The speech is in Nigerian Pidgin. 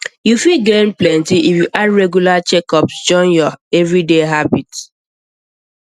you fit gain plenty if you add regular checkups checkups join your everyday habit